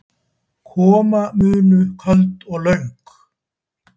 Koma munu köld og löng